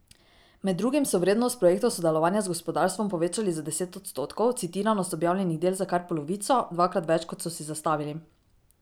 Med drugim so vrednost projektov sodelovanja z gospodarstvom povečali za deset odstotkov, citiranost objavljenih del za kar polovico, dvakrat več, kot so si zastavili.